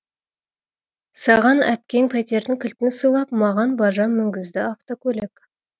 саған әпкең пәтердің кілтін сыйлап маған бажам мінгізді автокөлік